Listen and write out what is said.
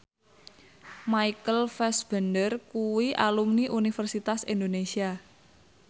Michael Fassbender kuwi alumni Universitas Indonesia